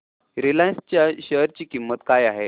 Reliance च्या share ची किंमत काय आहे